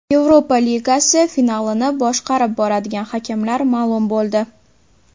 Yevropa Ligasi finalini boshqarib boradigan hakamlar ma’lum bo‘ldi.